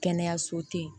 Kɛnɛyaso te yen